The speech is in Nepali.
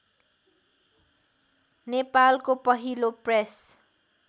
नेपालको पहिलो प्रेस